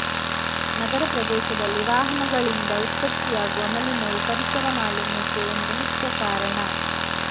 ನಗರ ಪ್ರದೇಶದಲ್ಲಿ ವಾಹನಗಳಿಂದ ಉತ್ಪತ್ತಿ ಯಾಗುವ ಮಲಿನವು ಪರಿಸರ ಮಾಲಿನ್ಯಕ್ಕೆ ಒಂದು ಮುಖ್ಯ ಕಾರಣ